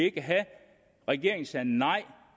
ikke have regeringen sagde nej